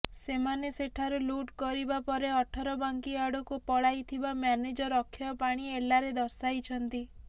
ସେମାନେ ସେଠାରୁ ଲୁଟ୍ କରିବା ପରେ ଅଠରବାଙ୍କି ଆଡକୁ ପଳାଇଥିବା ମ୍ୟାନେଜର ଅକ୍ଷୟ ପାଣି ଏଲାରେ ଦର୍ଶାଇଛନ୍ତି